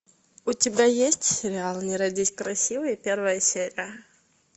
у тебя есть сериал не родись красивой первая серия